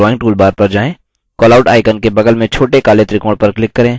callout draw करने के लिए drawing toolbar पर जाएँ